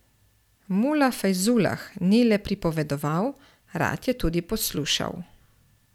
Mula Fajzulah ni le pripovedoval, rad je tudi poslušal.